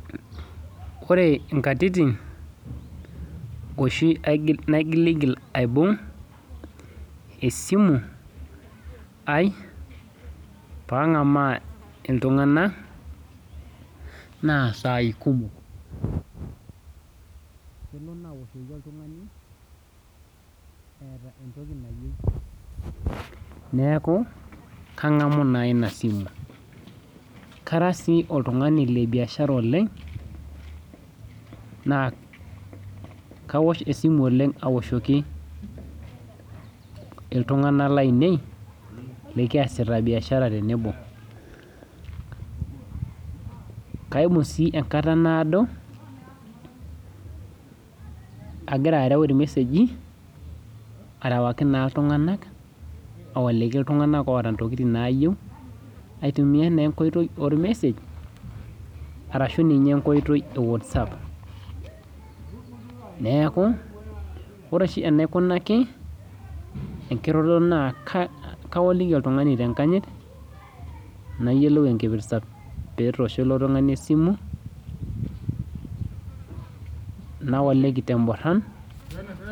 Ore inkatitin oshi naigilhil aibung esimu aii pang'amaa iltungana naa saii kumok. Neaku kangamu naa ina esimu, kara sii oltungani lebiashars oleng, naa kaosh esimu oleng aoshoki iltungana lainei likiasita mbiashara tenebo. Kiamu sii enkata naodo agira área ilmeseji arawaki naa iltunganak, aowoliki iltunganak oota ntokitin naayeu, aitukiya naa nkoitoi olmesej arashu ninye nkoitoi ewatsap, neaku ore oshi enaikunaki enkiroroto naa kawaliki oltungani te inkanyit, nayiolou enkipirta petoosho ilo tungani esimu, nawoliki te imboran.